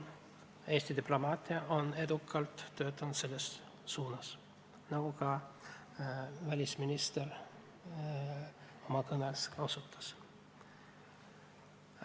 Eesti diplomaatia on edukalt selles suunas töötanud, nagu ka välisminister oma kõnes mainis.